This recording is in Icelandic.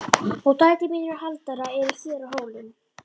Og dætur mínar og Halldóra eru hér á Hólum.